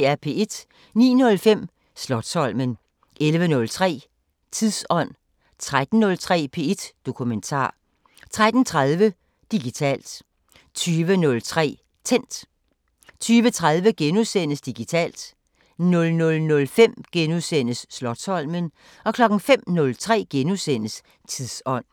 09:05: Slotsholmen 11:03: Tidsånd 13:03: P1 Dokumentar 13:30: Digitalt 20:03: Tændt 20:30: Digitalt * 00:05: Slotsholmen * 05:03: Tidsånd *